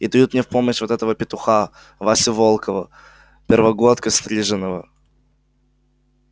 и дают мне в помощь вот этого петуха васю волкова первогодка стриженого